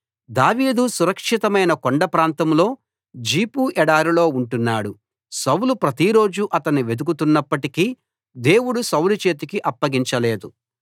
దావీదు సురక్షితమైన కొండ ప్రాంతంలో జీఫు ఎడారిలో ఉంటున్నాడు సౌలు ప్రతిరోజూ అతణ్ణి వెదుకుతున్నప్పటికీ దేవుడు సౌలు చేతికి అప్పగించలేదు